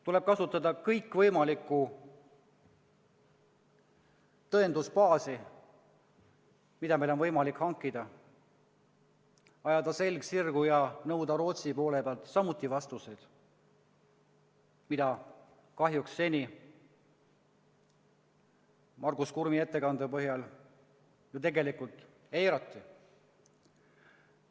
Tuleb kasutada kõikvõimalikku tõendusbaasi, mida meil on võimalik hankida, ajada selg sirgu ja nõuda Rootsi poole pealt samuti vastuseid, mida kahjuks seni – Margus Kurmi ettekande põhjal – ju tegelikult on eiratud.